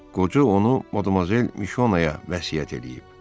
Qoca onu Mademoiselle Mişonaə vəsiyyət eləyib.